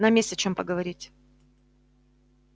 нам есть о чём поговорить